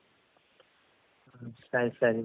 ಸರಿ ಸರಿ